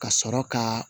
Ka sɔrɔ ka